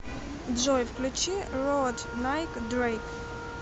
джой включи роад найк дрэйк